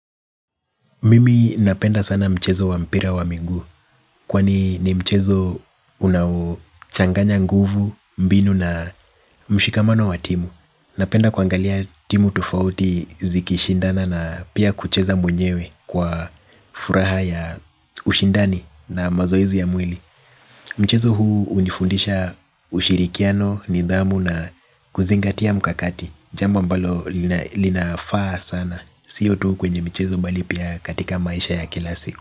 Mimi napenda sana mchezo wa mpira wa miguu. Kwani ni mchezo unaochanganya nguvu, mbinu na mshikamano wa timu. Napenda kuangalia timu tofauti zikishindana na pia kucheza mwenyewe kwa furaha ya ushindani na mazoezi ya mwili. Mchezo huu hunifundisha ushirikiano, nidhamu na kuzingatia mkakati. Jambo ambalo linafaa sana. Sio tu kwenye michezo bali pia katika maisha ya kila siku.